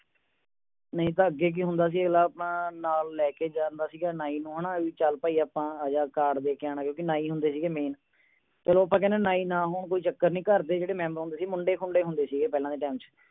ਨਹੀਂ ਤਾਂ ਅੱਗੇ ਕੀ ਹੁੰਦਾ ਸੀ ਆਪਣਾ ਨਾਲ ਲੇ ਕੇ ਜਾਂਦਾ ਸੀ ਨਾਈ ਨੂ ਹੈ ਨਾ ਚੱਲ ਭਾਈ ਆਪਾ ਆਜਾ card ਦੇ ਕੇ ਆਉਣਾ ਹੈ ਕਿਉਂਕਿ ਨਾਈ ਹੁੰਦੇ ਸੀਗੇ main ਚਲੋ ਆਪਾਂ ਕਹਿੰਦੇ ਨਾਰੀ ਨਾ ਹੋਣ ਕੋਈ ਚੱਕਰ ਨਹੀਂ ਘਰ ਦੇ ਜਿਹੜੇ member ਹੁੰਦੇ ਸੀ ਮੁੰਡੇ ਖੁੰਡੇ ਹੁੰਦੇ ਸੀਗੇ ਪਹਿਲਾਂ ਦੇ time ਚ